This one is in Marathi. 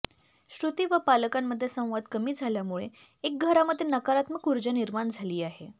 श्रुती व पालकांमध्ये संवाद कमी झाल्यामुळे एक घरामध्ये नकारात्मक ऊर्जा निर्माण झाली आहे